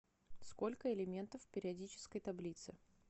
сколько элементов в периодической таблице